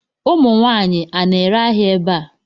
Ụmụ nwaanyị, a na-ere ahịa ebe a?